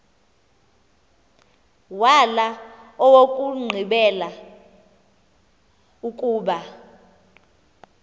wala owokugqibela ukuba